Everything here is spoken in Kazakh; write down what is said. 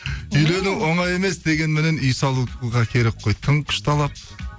үйлену оңай емес дегенменен үй салуға керек қой тың күш талап